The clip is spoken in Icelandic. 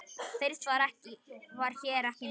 Fyrst var hér ekki neitt.